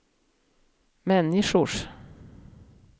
människors